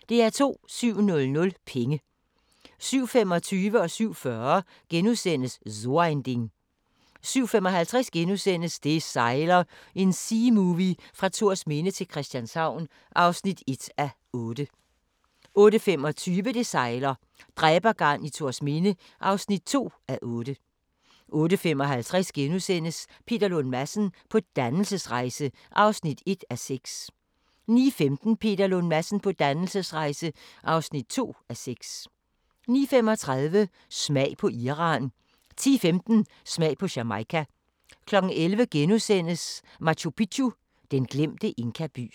07:00: Penge 07:25: So ein Ding * 07:40: So ein Ding * 07:55: Det sejler – en seamovie fra Thorsminde til Christianshavn (1:8)* 08:25: Det sejler - dræbergarn i Thorsminde (2:8) 08:55: Peter Lund Madsen på dannelsesrejse (1:6)* 09:15: Peter Lund Madsen på dannelsesrejse (2:6) 09:35: Smag på Iran 10:15: Smag på Jamaica 11:00: Machu Picchu: Den glemte inkaby *